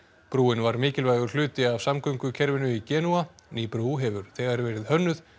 brúin var mikilvægur hluti af samgöngukerfinu í Genúa ný brú hefur þegar verið hönnuð